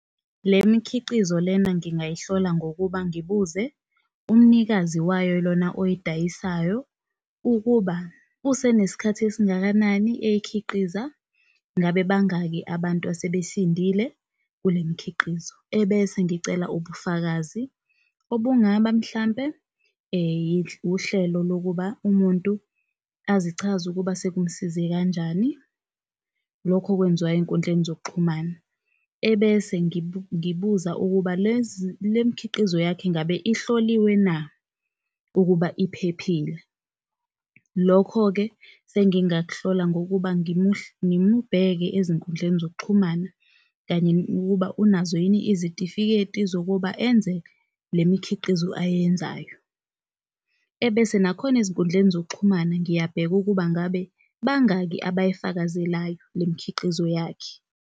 Le mikhiqizo lena ngingayihlola ngokuba ngibuze umnikazi wayo lona oyidayisayo ukuba, usenesikhathi esingakanani eyikhiqiza? ngabe bangaki abantu asebesindile kulemikhiqizo. Ebese ngicela ubufakazi obungaba mhlampe uhlelo lokuba umuntu azichaze ukuba sekumsize kanjani, lokho okwenziwayo ey'nkundleni zokuxhumana. Ebese ngibuza ukuba le mkhiqizo yakho ingabe ehloliwe na ukuba iphephile? Lokho-ke sengingak'hlola ngokuba ngimubheke ezinkundleni zokuxhumana kanye ukuba unazo yini izitifiketi zokuba enze le mikhiqizo ayenzayo. Ebese nakhona ezinkundleni zokuxhumana ngiyabheka ukuba ngabe bangaki abayifakazelayo le mkhiqizo yakhe.